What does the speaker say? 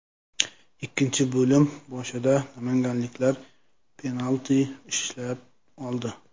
Ikkinchi bo‘lim boshida namanganliklar penalti ishlab oldi.